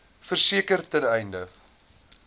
verseker ten einde